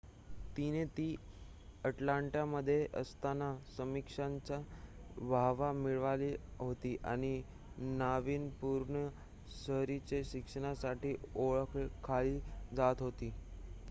तिने ती अटलांटामध्ये असताना समीक्षकांची वाहवा मिळवली होती आणि नावीन्यपूर्ण शहरी शिक्षणासाठी ओळखली जात होती